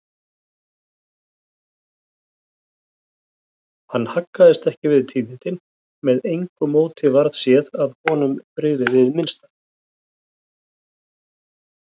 Hann haggaðist ekki við tíðindin, með engu móti varð séð að honum brygði hið minnsta.